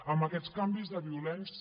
amb aquests canvis de violents